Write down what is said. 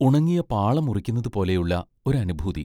ഉണങ്ങിയ പാള മുറിക്കുന്നത് പോലെയുള്ള ഒരനുഭൂതി.